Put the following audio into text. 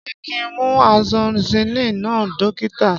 Ṣé kin mu amoxilin náà dókítà?